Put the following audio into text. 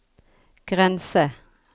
grense